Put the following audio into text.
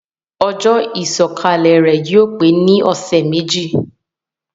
Ojó ìsòkalè rè yio pe ni òsé méjì